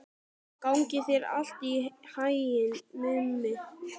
Gangi þér allt í haginn, Mummi.